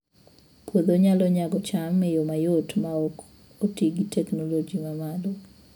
Puodho nyalo nyago cham e yo mayot maok oti gi teknoloji ma malo